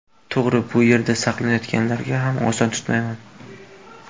To‘g‘ri, bu yerda saqlanayotganlarga ham oson tutmayman.